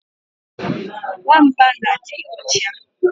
Nwamba na adi ocha